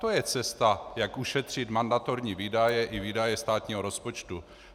To je cesta, jak ušetřit mandatorní výdaje i výdaje státního rozpočtu.